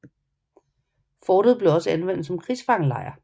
Fortet blev også anvendt som krigsfangelejr